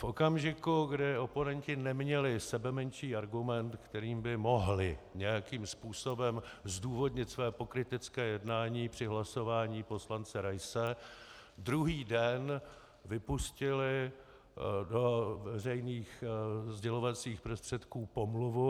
V okamžiku, kdy oponenti neměli sebemenší argument, kterým by mohli nějakým způsobem zdůvodnit své pokrytecké jednání při hlasování poslance Raise, druhý den vypustili do veřejných sdělovacích prostředků pomluvu.